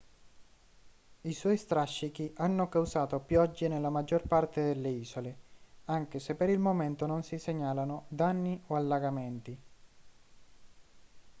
i suoi strascichi hanno causato piogge nella maggior parte delle isole anche se per il momento non si segnalano danni o allagamenti